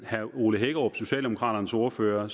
herre ole hækkerup socialdemokraternes ordfører